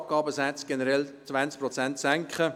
Die Abgabesätze seien generell um 20 Prozent zu senken.